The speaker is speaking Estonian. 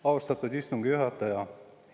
Austatud istungi juhataja!